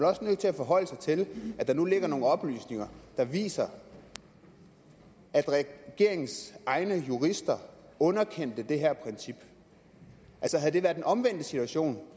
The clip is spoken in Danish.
også nødt til at forholde sig til at der nu ligger nogle oplysninger der viser at regeringens egne jurister underkendte det her princip havde det været den omvendte situation